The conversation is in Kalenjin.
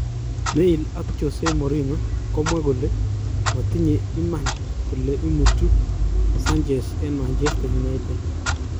Mail ak jose mourihno komwa kole matinye imanan kole imutut saunchez en Manchester United